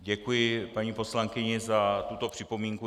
Děkuji paní poslankyni za tuto připomínku.